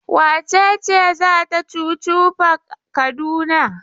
Wace ce za ta chuchu park Kaduna?